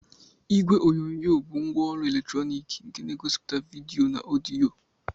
Igwe onyonyo bụ ngwaọrụ eletrọnịkị nke na-egosipụta vidiyo na ọdịyo.